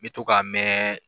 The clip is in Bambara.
N bɛ to k'a mɛɛɛn.